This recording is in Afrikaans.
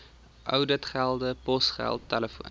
ouditgelde posgeld telefoon